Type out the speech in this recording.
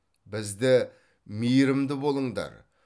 бізді мейірімді болыңдар